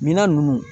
Minan nunnu